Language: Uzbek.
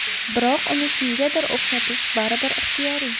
Biroq uni kimgadir o‘xshatish baribir ixtiyoriy.